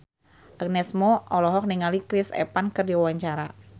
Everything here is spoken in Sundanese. Agnes Mo olohok ningali Chris Evans keur diwawancara